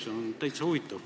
See on täitsa huvitav.